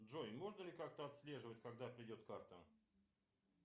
джой можно ли как то отслеживать когда придет карта